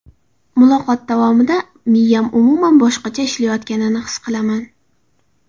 Muloqot davomida miyam umuman boshqacha ishlayotganini his qilaman.